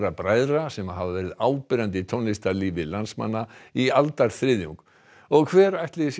bræðra sem hafa verið áberandi í tónlistarlífi landsmanna í aldarþriðjung og hver ætli sé